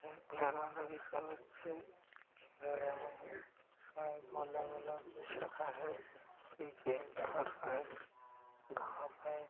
बच्चे खेल रहे है इसमें एक गोला गोला कुछ रखा है नीचे एक घर है घास है।